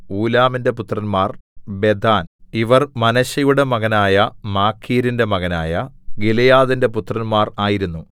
ഊലാമിന്റെ പുത്രന്മാർ ബെദാൻ ഇവർ മനശ്ശെയുടെ മകനായ മാഖീരിന്റെ മകനായ ഗിലെയാദിന്റെ പുത്രന്മാർ ആയിരുന്നു